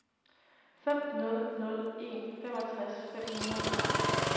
fem nul nul en femogtres fem hundrede og ti